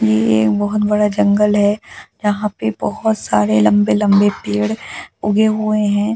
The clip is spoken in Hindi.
ये एक बहुत बड़ा जंगल है यहां पे बहुत सारे लंबे-लंबे पेड़ ऊगे हुए हैं ऊ दूर-दूर--